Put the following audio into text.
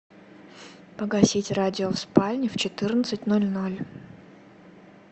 погасить радио в спальне в четырнадцать ноль ноль